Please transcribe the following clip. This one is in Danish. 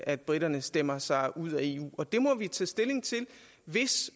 at briterne stemmer sig ud af eu det må vi tage stilling til hvis